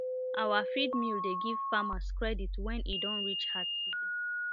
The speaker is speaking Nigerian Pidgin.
our feed mill dey give farmers credit when e don reach hard season